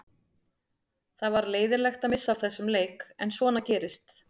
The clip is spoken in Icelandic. Það var leiðinlegt að missa af þessum leik en svona gerist.